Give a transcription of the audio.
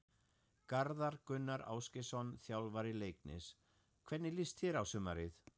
Garðar Gunnar Ásgeirsson, þjálfari Leiknis Hvernig líst þér á sumarið?